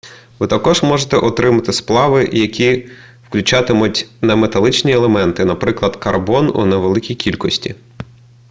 ви також можете отримати сплави які включатимуть неметалічні елементи наприклад карбон у невеликій кількості